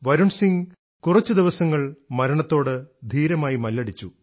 വരുൺ സിംഗ് കുറച്ചു ദിവസങ്ങൾ മരണത്തോട് ധീരമായി മല്ലടിച്ചു